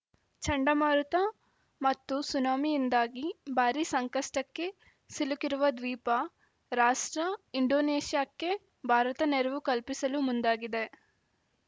ಚಂಡಮಾರುತ ಮತ್ತು ಸುನಾಮಿಯಿಂದಾಗಿ ಭಾರೀ ಸಂಕಷ್ಟಕ್ಕೆ ಸಿಲುಕಿರುವ ದ್ವೀಪ ರಾಷ್ಟ್ರ ಇಂಡೋನೇಷ್ಯಾಕ್ಕೆ ಭಾರತ ನೆರವು ಕಲ್ಪಿಸಲು ಮುಂದಾಗಿದೆ